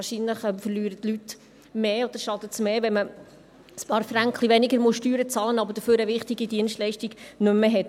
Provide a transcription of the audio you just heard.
Wahrscheinlich verlieren die Leute mehr, oder es schadet mehr, wenn man ein paar Fränkli weniger Steuern bezahlen muss, aber dafür eine wichtige Dienstleistung nicht mehr hat.